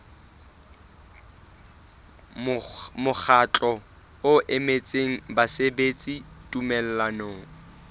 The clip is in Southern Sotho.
mokgatlo o emetseng basebeletsi tumellanong